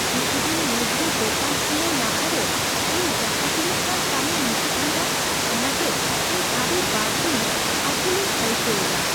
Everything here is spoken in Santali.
ᱠᱤᱪᱷᱩ ᱫᱤᱱ ᱢᱩᱫᱽᱨᱮ ᱫᱳᱠᱟᱱ ᱠᱷᱩᱞᱟᱹᱣ ᱞᱟᱦᱟᱨᱮ ᱤᱧ ᱡᱟᱦᱟᱸ ᱛᱤᱱᱟᱹᱜ ᱜᱟᱱ ᱠᱟᱹᱢᱤ ᱢᱩᱪᱟᱹᱫ ᱦᱩᱭᱩᱜᱼᱟ, ᱚᱱᱟ ᱛᱮ ᱤᱧ ᱟᱹᱰᱤ ᱵᱟᱹᱲᱛᱤ ᱟᱹᱠᱩᱞᱞᱤᱧ ᱟᱹᱭᱠᱟᱹᱣ ᱮᱫᱟ ᱾